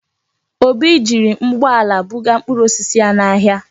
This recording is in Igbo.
Obi jiri ụgbọala buga mkpụrụ osisi ya n'ahịa.